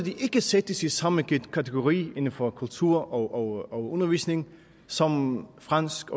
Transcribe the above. sættes i samme kategori inden for kultur og undervisning som fransk